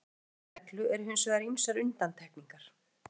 Frá þessari meginreglu eru hins vegar ýmsar undantekningar.